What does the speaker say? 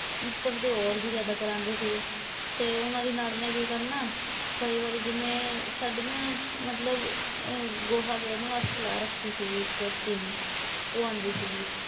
ਉੱਪਰ ਦੀ ਹੋਰ ਵੀ ਜਿਆਦਾ ਕਰਾਂਦੇ ਸੀਗੇ ਤੇ ਉਨ੍ਹਾਂ ਦੀ ਨਣਦ ਨੇ ਕੀ ਕਰਨਾ। ਕਈ ਵਾਰੀ ਜਿਵੇਂ ਸਾਡੇ ਨਾ ਮਤਲਬ ਗੋਹਾ ਗੈਰਨ ਵਾਲੀ ਲਾ ਰੱਖੀ ਸੀਗੀ ਇੱਕ ਤੀਵੀਂ ਉਹ ਆਉਂਦੀ ਸੀਗੀ।